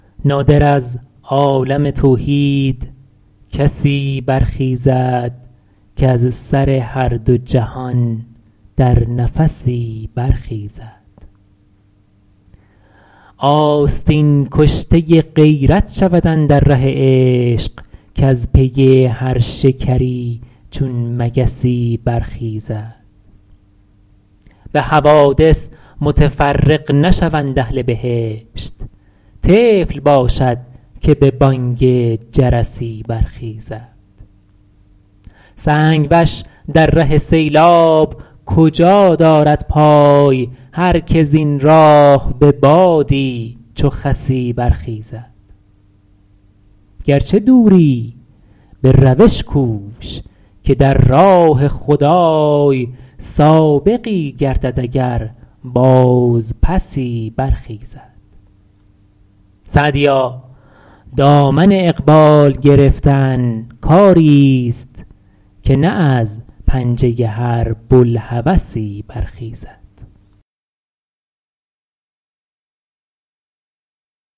نادر از عالم توحید کسی برخیزد کز سر هر دو جهان در نفسی برخیزد آستین کشته غیرت شود اندر ره عشق کز پی هر شکری چون مگسی برخیزد به حوادث متفرق نشوند اهل بهشت طفل باشد که به بانگ جرسی برخیزد سنگ وش در ره سیلاب کجا دارد پای هر که زین راه به بادی چو خسی برخیزد گرچه دوری به روش کوش که در راه خدای سابقی گردد اگر بازپسی برخیزد سعدیا دامن اقبال گرفتن کاریست که نه از پنجه هر بوالهوسی برخیزد